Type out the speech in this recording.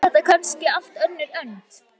Eða er þetta kannski allt önnur önd?